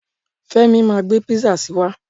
Femi ma gbé písà si wá.